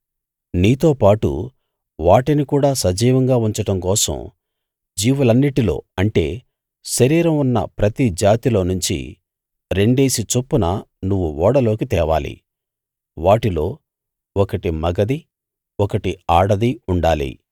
నీతోపాటు వాటిని కూడా సజీవంగా ఉంచడం కోసం జీవులన్నిటిలో అంటే శరీరం ఉన్న ప్రతి జాతిలోనుంచి రెండేసి చొప్పున నువ్వు ఓడలోకి తేవాలి వాటిలో ఒకటి మగది ఒకటి ఆడది ఉండాలి